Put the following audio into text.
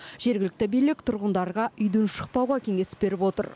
жергілікті билік тұрғындарға үйден шықпауға кеңес беріп отыр